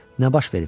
Nə baş verib?